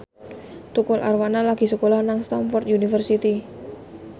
Tukul Arwana lagi sekolah nang Stamford University